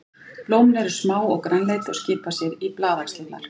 Blómin eru smá og grænleit og skipa sér í blaðaxlirnar.